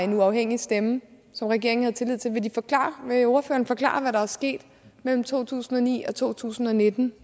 en uafhængig stemme som regeringen havde tillid til vil ordføreren forklare hvad der er sket mellem to tusind og ni og to tusind og nitten